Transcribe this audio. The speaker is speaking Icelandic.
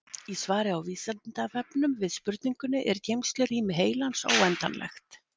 Í svari á Vísindavefnum við spurningunni Er geymslurými heilans óendanlegt?